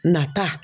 Nata